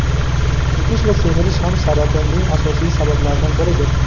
Chekish va semirish ham saratoning asosiy sabablaridan biridir.